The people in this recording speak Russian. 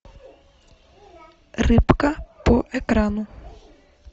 рыбка по экрану